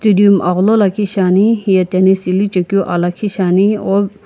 dium agholo lakhi shiani hiye tennis ili chekeu aa lakhi shiani al--